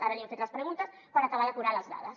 ara li hem fet les preguntes per acabar d’acotar les dades